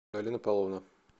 галина павловна